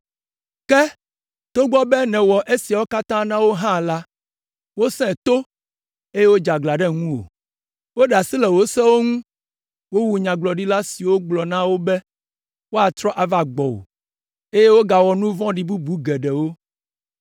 “Ke, togbɔ be nèwɔ esiawo katã na wo hã la, wosẽ to, eye wodze aglã ɖe ŋuwò. Woɖe asi le wò sewo ŋu, wowu nyagblɔɖila siwo gblɔ na wo be woatrɔ ava gbɔwò, eye wogawɔ nu vɔ̃ vɔ̃ɖi bubu geɖewo.